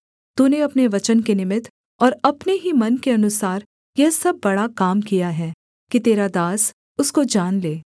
तूने अपने वचन के निमित्त और अपने ही मन के अनुसार यह सब बड़ा काम किया है कि तेरा दास उसको जान ले